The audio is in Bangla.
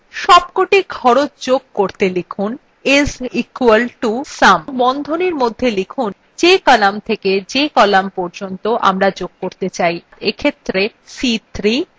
সবকটি খরচ যোগ করতে লিখুন is equal to sum এবং বন্ধনীর মধ্যে যে কলাম থেকে যে কলাম পর্যন্ত আমরা যোগ করতে চাই অর্থাৎ c3 colon c7